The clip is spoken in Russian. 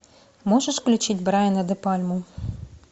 можешь включить брайана де пальму